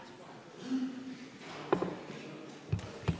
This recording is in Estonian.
Istungi lõpp kell 11.14.